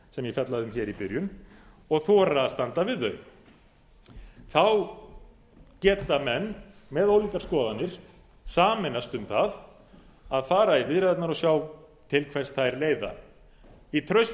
sem ég fjallaði um hér í byrjun og þora að standa við þau þá geta menn með ólíkar skoðanir sameinast um það að fara í viðræðurnar og sjá til hvers þær leiða í trausti